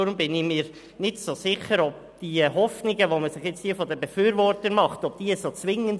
Deshalb bin ich mir nicht sicher, ob die Hoffnungen der Befürworter wirklich so zwingend sind.